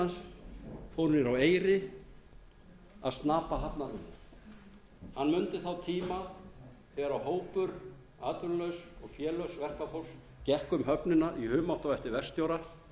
hans fór niður á eyri að snapa þarna vinnu hann mundi þá tíma þegar hópur atvinnulauss og félauss verkafólks gekk um höfnina í humátt á eftir verkstjóra